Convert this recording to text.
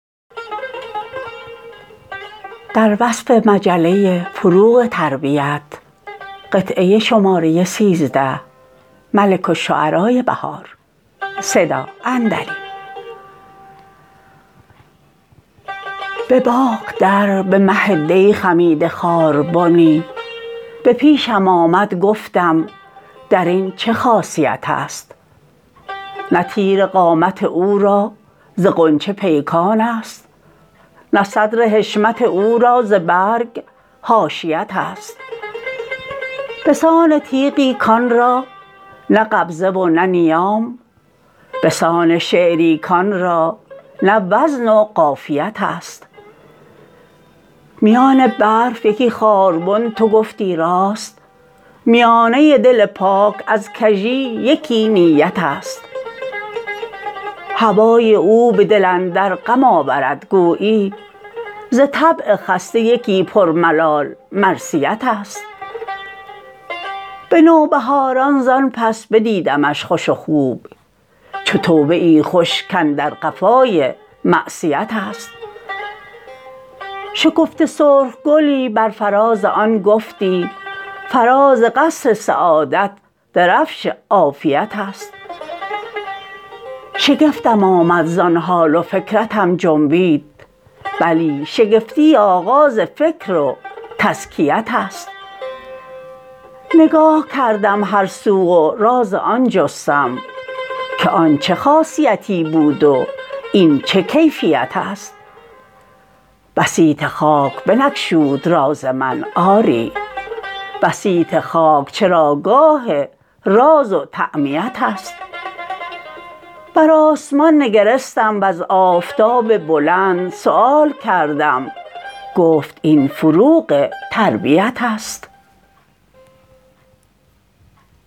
به باغ در به مه دی خمیده خاربنی به پیشم آمدگفتم درین چه خاصیت است نه تیر قامت او را ز غنچه پیکانست نه صدر حشمت او را ز برگ حاشیت است بسان تیغی کان را نه قبضه و نه نیام بسان شعری کان را نه وزن و قافیت است میان برف یکی خاربن تو گفتی راست میانه دل پاک ازکژی یکی نیت است هوای او به دل اندر غم آورد گویی ز طبع خسته یکی پر ملال مرثیت است به نوبهاران زان پس بدیدمش خوش و خوب چو توبه ای خوش کاندر قفای معصیت است شکفته سرخ گلی بر فرازآن گفتی فراز قصر سعادت درفش عافیت است شگفتم آمد زان حال و فکرتم جنبید بلی شگفتی آغاز فکر و تزکیت است نگاه کردم هر سو و راز آن جستم که آن چه خاصیتی بود و این چه کیفیت است بسیط خاک بنگشود راز من آری بسیط خاک چراگاه راز و تعمیت است برآسمان نگرستم وزآفتاب بلند سیوال کردم گفت این فروغ تربیت است